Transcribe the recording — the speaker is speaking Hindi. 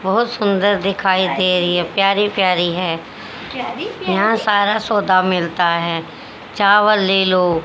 बहोत सुंदर दिखाई दे रही है प्यारी प्यारी है यहां सारा सौदा मिलता है चावल ले लो--